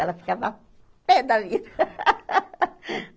Ela ficava pê da vida.